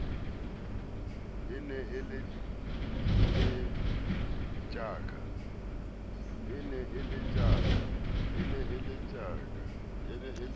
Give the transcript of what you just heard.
e ne e le tjaka